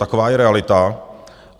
Taková je realita.